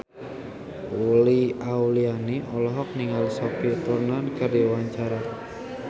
Uli Auliani olohok ningali Sophie Turner keur diwawancara